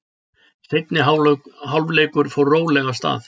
Seinni hálfleikur fór rólega af stað.